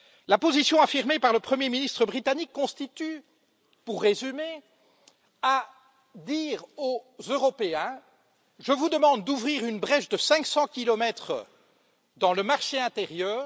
La position affirmée par le premier ministre britannique consiste, pour résumer, à dire aux Européens je vous demande d'ouvrir une brèche de 500 kilomètres dans le marché intérieur.